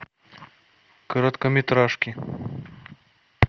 короткометражки